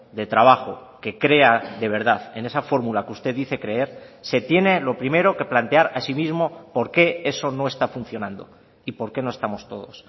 de trabajo que crea de verdad en esa fórmula que usted dice creer se tiene lo primero que plantear a sí mismo por qué eso no está funcionando y por qué no estamos todos